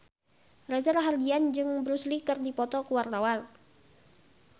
Reza Rahardian jeung Bruce Lee keur dipoto ku wartawan